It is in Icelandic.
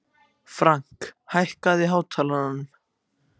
Frank, hækkaðu í hátalaranum.